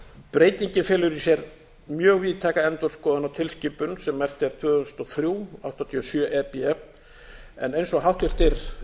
breytingin felur í sér mjög víðtæka endurskoðun á tilskipun sem merkt er tvö þúsund og þrjú áttatíu og sjö e b en eins og háttvirtir